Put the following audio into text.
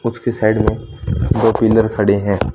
उसके साइड में दो पिलर खड़े हैं।